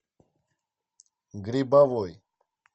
грибовой